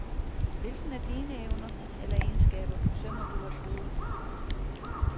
Hvilken af dine evner eller egenskaber forsømmer du at bruge?